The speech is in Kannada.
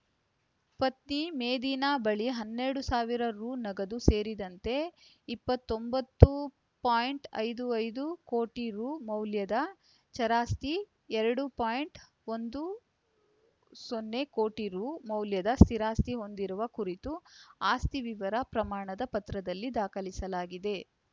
ಪತ್ನಿ ಮೇದಿನಾ ಬಳಿ ಹನ್ನೆರಡು ಸಾವಿರ ರು ನಗದು ಸೇರಿದಂತೆ ಇಪ್ಪತ್ತೊಂಬತ್ತು ಪಾಯಿಂಟ್ ಐದು ಐದು ಕೋಟಿ ರು ಮೌಲ್ಯದ ಚರಾಸ್ತಿ ಎರಡು ಪಾಯಿಂಟ್ ಒಂದು ಸೊನ್ನೆ ಕೋಟಿ ರು ಮೌಲ್ಯದ ಸ್ಥಿರಾಸ್ತಿ ಹೊಂದಿರುವ ಕುರಿತು ಆಸ್ತಿ ವಿವರ ಪ್ರಮಾಣದ ಪತ್ರದಲ್ಲಿ ದಾಖಲಿಸಲಾಗಿದೆ